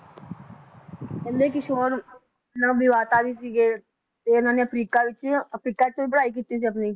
ਕਹਿੰਦੇ ਕਿ ਵੀ ਸੀਗੇ, ਤੇ ਇਹਨਾਂ ਨੇ ਅਫ਼ਰੀਕਾ ਵਿਚ ਅਫ਼ਰੀਕਾ ਚ ਵੀ ਪੜ੍ਹਾਈ ਕੀਤੀ ਸੀ ਆਪਣੀ